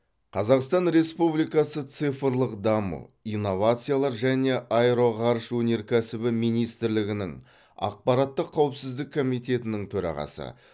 қазақстан республикасы цифрлық даму инновациялар және аэроғарыш өнеркйсібі министрлігінің ақпараттық қауіпсіздік комитетінің төрағасы